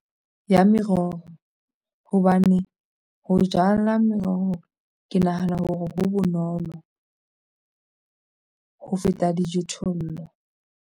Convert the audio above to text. Ya meroho hobane ho jala meroho ke nahana hore ho bonolo ho feta dijothollo.